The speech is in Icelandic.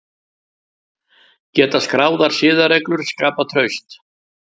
Geta skráðar siðareglur skapað traust?